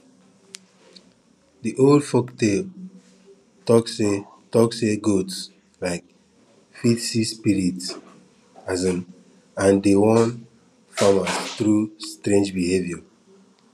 de old folktales talk say talk say goats um fit see spirits um and dey warn farmers through strange behavior